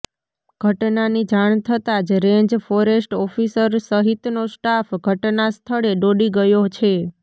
ઘટનાની જાણ થતાં જ રેન્જ ફોરેસ્ટ ઓફિસર સહિતનો સ્ટાફ ઘટના સ્થળે દોડી ગયો છે